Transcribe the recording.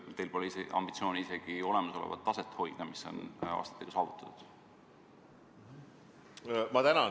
Miks teil pole ambitsiooni hoida vähemalt olemasolevat taset, mis on aastatega saavutatud?